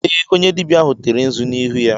Ee, onye dibịa ahụ tere nzu n'ihu ya.